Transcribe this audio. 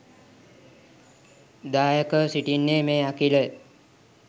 දායකව සිටින්නේ මේ අඛිලය